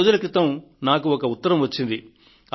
కొద్ది రోజుల క్రితం నాకు ఒక ఉత్తరం వచ్చింది